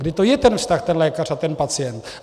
Kdy to je ten vztah ten lékař a ten pacient.